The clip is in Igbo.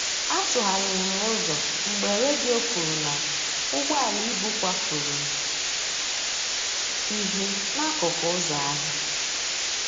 A tụgharịrị m ụzọ mgbe redio kwuru na ụgbọala ibu kwafuru ihe n'akụkụ ụzọ ahịa